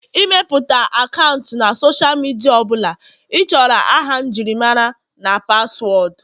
ịmepụta akaụntụ na Sọsha midia ọ bụla ịchọrọ aha njirimara na paswọọdụ